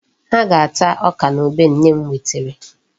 Ha ga-ata ọka na ube nne m wetara.